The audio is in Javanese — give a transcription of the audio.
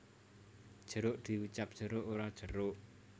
Jeruk diucap jeruk ora jerok